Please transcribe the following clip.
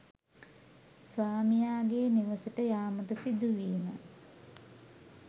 ස්වාමියාගේ නිවසට යාමට සිදුවීම